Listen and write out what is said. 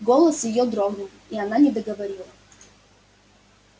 голос её дрогнул и она не договорила